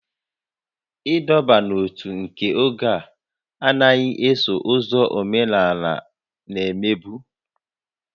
Ịdọba n'ótú nke oge a anaghị eso ụzọ omenala na-emebu